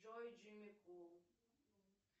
джой джимми кул